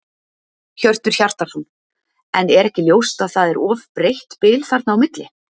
Hjörtur Hjartarson: En er ekki ljóst að það er of breitt bil þarna á milli?